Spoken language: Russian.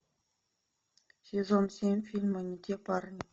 сезон семь фильма не те парни